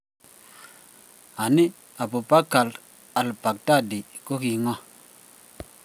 Anii, Abu Bakr al-Baghdadi ko ki ng'o?